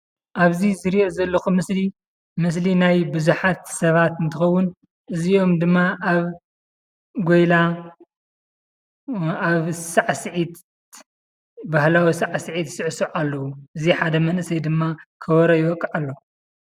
ኣብዚ ዝረአ ዘሎ ምሰሊ ምስሊ ናይ ብዙሓት ሰባት እንትኸውን አዚኦም ድማ ኣብ ጎይላ ኣብ ሳዕሲዒት ባሀላዊ ሳዕሲዒት ይስዕስዑ ኣለዉ እዚ ሓደ መንእሰይ ድማ ከበሮ ይወቅዕ ኣሎ።